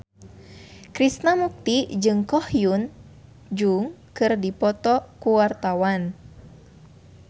Krishna Mukti jeung Ko Hyun Jung keur dipoto ku wartawan